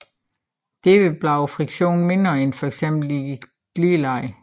Derved bliver friktionen mindre end fx i et glideleje